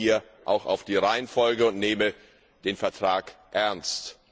Man achte hier auch auf die Reihenfolge und nehme den Vertrag ernst.